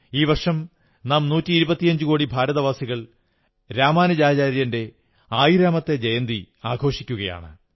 ഈ വർഷം നാം നൂറ്റിയിരുപത്തിയഞ്ചുകോടി ഭാരതവാസികൾ രാമാനുജാചാര്യന്റെ ആയിരാമത്തെ ജയന്തി ആഘോഷിക്കയാണ്